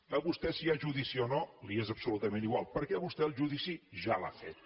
a vostè si hi ha judici o no li és absolutament igual perquè vostè el judici ja l’ha fet